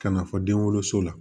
Ka na fɔ den woloso la